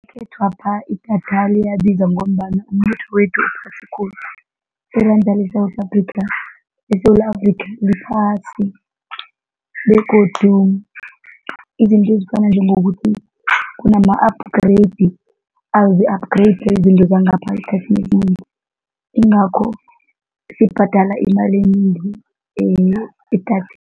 Ekhethwapha idatha liyabiza ngombana umnotho wethu uphasi khulu. Iranda leSewula Afrika, eSewula Afrika liphasi begodu izinto ezifana njengokuthi kunama-upgrade, azi-upgrade izinto zangapha esikhathini esinengi, ingakho sibhadala imali enengi